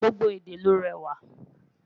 gbogbo èdè ló réwà